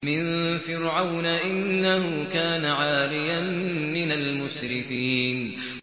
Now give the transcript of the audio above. مِن فِرْعَوْنَ ۚ إِنَّهُ كَانَ عَالِيًا مِّنَ الْمُسْرِفِينَ